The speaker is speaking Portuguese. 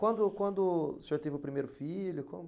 Quando, quando o senhor teve o primeiro filho, como?